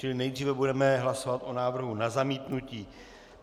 Čili nejdříve budeme hlasovat o návrhu na zamítnutí.